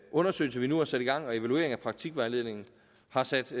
undersøgelse vi nu har sat i gang og evalueringen af praktikvejledningen har sat